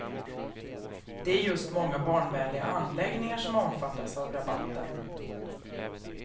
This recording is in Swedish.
Det är just många barnvänliga anläggningar som omfattas av rabatten.